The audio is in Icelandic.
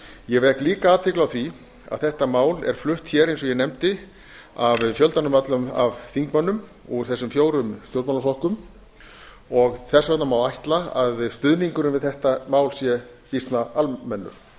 ég vek líka athygli á því að þetta mál er flutt hér eins og ég nefndi af fjöldanum ölllum af þingmönnum úr þessum fjórum stjórnmálaflokkum þess vegna má ætla að stuðningurinn við þetta mál sé býsna almennur